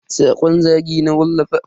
Sakon zagi na wallafa.